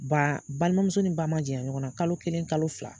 Ba balima muso ni ba man janya ɲɔgɔn na kalo kelen kalo fila.